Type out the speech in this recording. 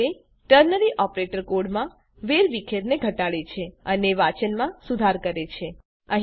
આ રીતે ternary operator કોડમાં વેરવિખેરને ઘટાડે છે અને વાંચનમાં સુધાર કરે છે